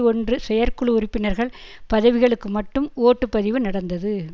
ஒன்று செயற்குழு உறுப்பினர்கள் பதவிகளுக்கு மட்டும் ஓட்டு பதிவு நடந்தது